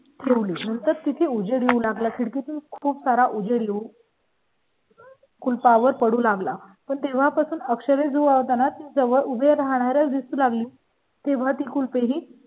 तून तर तिथे उजेड येऊ लागला. खिडकी तून खूप सारा उजळू येऊ . कुलपा वर पडू लागला पण तेव्हापासून अक्षय वत नाती जवळ उभे राहणारच दिसू लागली तेव्हा ते कुल पे ही.